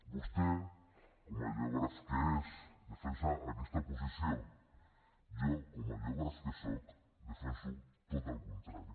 vostè com a geògraf que és defensa aquesta posició jo com a geògraf que soc defenso tot el contrari